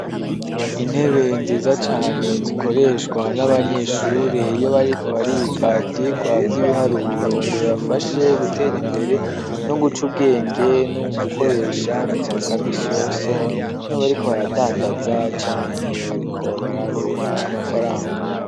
Intebe nziza cane zikoreshwa n'abanyeshure iyo bariko bariga ibyigwa by'ibiharuburo ngo bibafashe gutera imbere, no guca ubwenge nu gukoresha mu buzima bwa misi yose niyo bariko baradandaza canke bariko baraharura amafaranga.